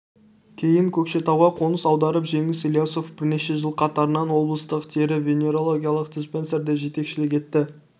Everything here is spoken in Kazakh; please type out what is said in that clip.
кейін көкшетауға қоныс аударып жеңіс ілиясов бірнеше жыл қатарынан облыстық тері венерологиялық диспансерге жетекшілік етті